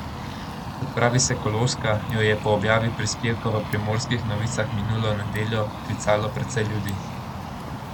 Kot pravi Sekuloska, jo je po objavi prispevka v Primorskih novicah minulo nedeljo klicalo precej ljudi.